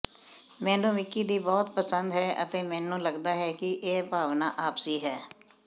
ਮੈਨੂੰ ਵਿਕੀ ਦੀ ਬਹੁਤ ਪਸੰਦ ਹੈ ਅਤੇ ਮੈਨੂੰ ਲਗਦਾ ਹੈ ਕਿ ਇਹ ਭਾਵਨਾ ਆਪਸੀ ਹੈ